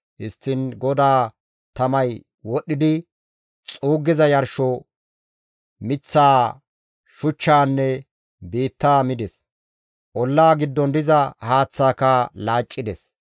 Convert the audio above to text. Histtiin GODAA tamay wodhdhidi xuuggiza yarsho, miththaa, shuchchaanne biittaa mides; ollaa giddon diza haaththaaka laaccides.